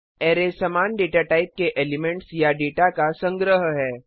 array समान data type के elements या डेटा का संग्रह है